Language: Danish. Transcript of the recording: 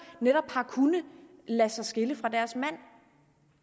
netop har kunnet lade sig skille fra deres mænd